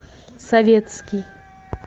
советский